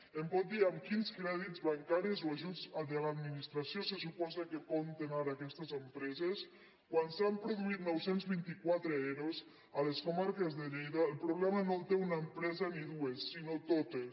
em pot dir amb quins crèdits bancaris o ajuts de l’administració se suposa que compten ara aquestes empreses quan s’han produït nou cents i vint quatre ero a les comarques de lleida el problema no el té una empresa ni dues sinó totes